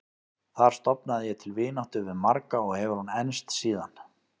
Þar stofnaði ég til vináttu við marga og hefur hún enst síðan.